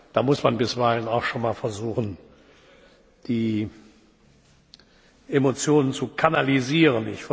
Da muss man bisweilen auch schon mal versuchen, die Emotionen zu kanalisieren.